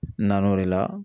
N nan'o de la